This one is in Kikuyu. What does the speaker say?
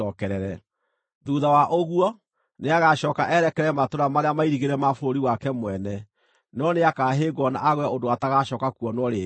Thuutha wa ũguo, nĩagacooka erekere matũũra marĩa mairigĩre ma bũrũri wake mwene, no nĩakahĩngwo na agwe ũndũ atagacooka kuonwo rĩngĩ.